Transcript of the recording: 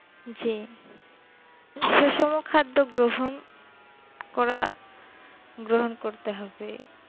যে সুষম খাদ্য গ্রহণ করা গ্রহন করতে হবে